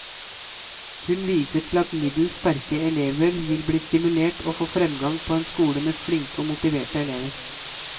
Hun viser til at middels sterke elever vil bli stimulert og får fremgang på en skole med flinke og motiverte elever.